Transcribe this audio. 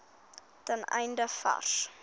ten einde vars